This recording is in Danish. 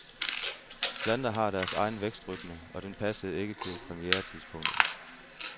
Planter har deres egen vækstrytme, og den passede ikke til premieretidspunktet.